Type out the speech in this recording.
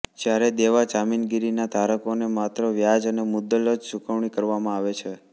જ્યારે દેવાં જામીનગીરીના ધારકોને માત્ર વ્યાજ અને મુદ્દલની જ ચૂકવણી કરવામાં આવે છે